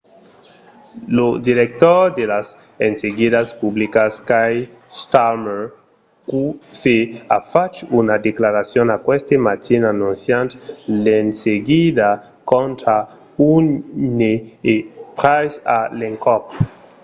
lo director de las enseguidas publicas keir starmer qc a fach una declaracion aqueste matin anonciant l'enseguida contra huhne e pryce a l'encòp